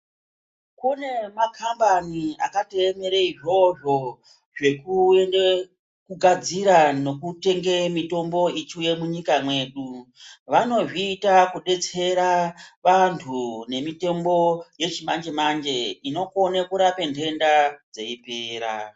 Kune maKambani akatoyemere izvozvo zvekuyende, kugadzira nekutenge mitombo ichiuye munyika mwedu, vanozviita kudetsera vandu ngemitombo yechimanje manje inokone kurape ndenda dzeyipera.